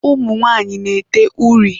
Ụmụ nwanyị na-ete uri.